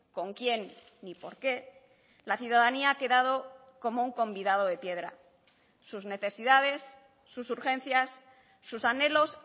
con quién ni por qué la ciudadanía ha quedado como un convidado de piedra sus necesidades sus urgencias sus anhelos